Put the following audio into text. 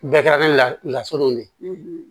Bɛɛ kɛra ni lasunen de ye